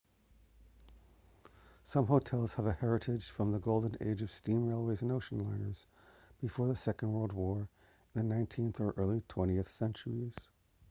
some hotels have a heritage from the golden age of steam railways and ocean liners before the second world war in the 19th or early 20th centuries